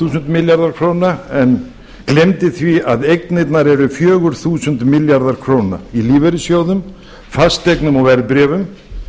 þúsund milljarðar króna en gleymdi því að eignirnar eru fjögur þúsund milljarðar króna í lífeyrissjóðum fasteignum og verðbréfum